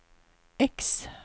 X